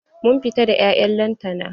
Mun fita da 'ya'yan lantana.